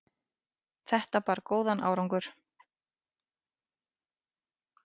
Þetta bar góðan árangur.